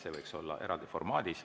See võiks olla eraldi formaadis.